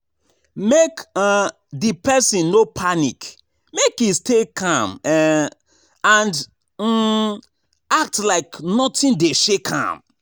Make um di persin no panic make e stay calm um and um act like nothing de shake am